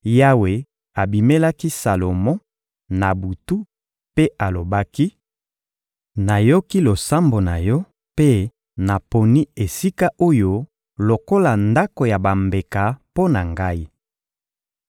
Yawe abimelaki Salomo, na butu, mpe alobaki: — Nayoki losambo na yo mpe naponi esika oyo lokola Ndako ya bambeka mpo na Ngai.